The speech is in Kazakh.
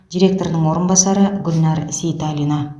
директорының орынбасары гүлнар сейталина